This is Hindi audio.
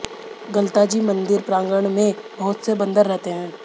गलता जी मंदिर प्रागण में बहुत से बंदर रहते हैं